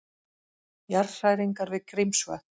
Jarðhræringar við Grímsvötn